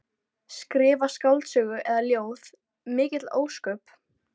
Skrifa skáldsögu eða ljóð, mikil ósköp.